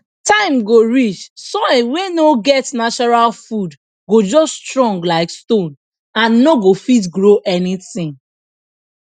time go reach soil wey no get natural food go just strong like stone and no go fit grow anything